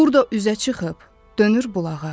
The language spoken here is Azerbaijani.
Burda üzə çıxıb dönür bulağa.